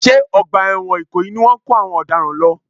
Ṣé ọgbà ẹ̀wọ̀n ìkòyí ni wọ́n ń kó àwọn ọ̀daràn lọ?